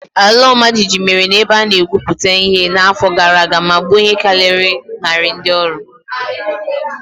Ala ọmajiji mere na ebe a na-egwuputa ihe n'afọ gara aga ma gbuo ihe karịrị narị ndị ọrụ.